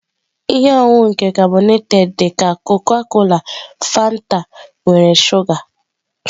Ihe ọṅụṅụ nke karbonated dị ka Coca-cola Fanta nwere shuga.